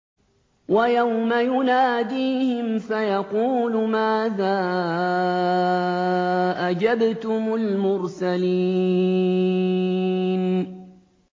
وَيَوْمَ يُنَادِيهِمْ فَيَقُولُ مَاذَا أَجَبْتُمُ الْمُرْسَلِينَ